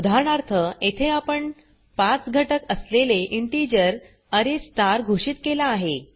उदाहरणार्थ येथे आपण 5घटक असलेले इंटिजर अरे स्टार घोषित केला आहे